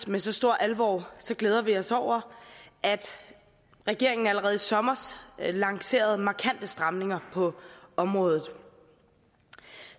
med så stor alvor glæder vi os over at regeringen allerede i sommers lancerede markante stramninger på området